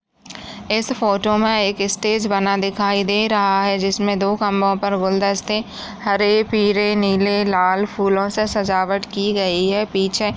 इस फोटो में एक स्टेज बना दिखाई दे रहा है जिस में दो खम्बो पर गुलदस्ते हरे पीले नीले लाल फूलों से सजावट की गई है पीछे --